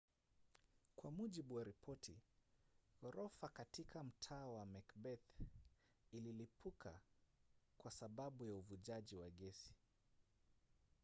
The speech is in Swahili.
kwa mujibu wa ripoti ghorofa katika mtaa wa macbeth ililipuka kwa sababu ya uvujaji wa gesi